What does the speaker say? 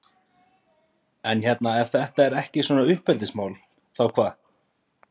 En hérna ef þetta er ekki svona uppeldismál, þá hvað?